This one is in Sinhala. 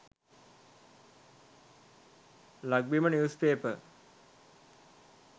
lakbima news paper